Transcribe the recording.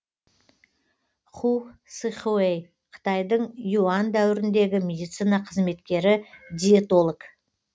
ху сыхуэй қытайдың юань дәуіріндегі медицина қызметкері диетолог